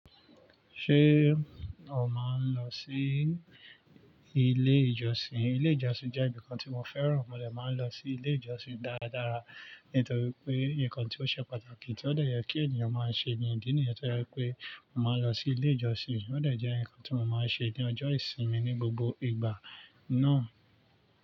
Ṣé o máa ń lọ sí ilé ìjọsìn? Ilé ìjọsìn jẹ́ ibìkan tí mo fẹ́ràn, mo dè máa ń lọ sí ilé ìjọsìn dáradára, nítorí pé nǹkan tí ó ṣe pàtàkì tí ó dè yẹ kí ènìyàn máa ṣe ni ìdí nìyẹn ti ó jẹ pé màá lọ sí ilé ìjọsìn, ó dè jẹ́ ǹkan tí mo máa ń ṣe ní ọjọ́ ìsinmi ní gbogbo ìgbà náà.